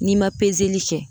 N'i ma peseli kɛ.